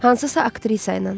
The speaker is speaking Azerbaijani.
Hansısa aktrisa ilə.